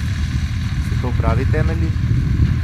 So to pravi temelji?